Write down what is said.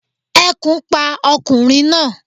Ekùn pa okùnrin náa